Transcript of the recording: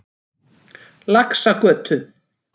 Laxagötu